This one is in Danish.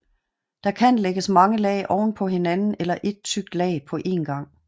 Der kan lægges mange lag ovenpå hinanden eller ét tykt lag på en gang